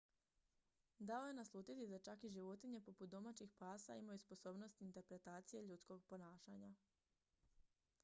dao je naslutiti da čak i životinje poput domaćih pasa imaju sposobnost interpretacije ljudskog ponašanja